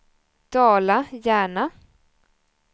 Dala-Järna